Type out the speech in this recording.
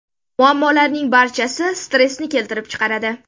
Muammolarning barchasi stressni keltirib chiqaradi.